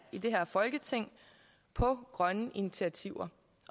i det her folketing på grønne initiativer